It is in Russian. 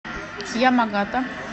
ямагата